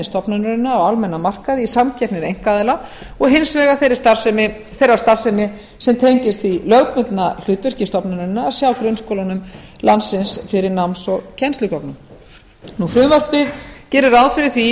stofnunarinnar á almennum markaði í samkeppni við einkaaðila og hins vegar þeirrar starfsemi sem tengist því lögbundna hlutverki stofnunarinnar að sjá grunnskólum landsins fyrir náms og kennslugögnum frumvarpið gerir ráð fyrir því í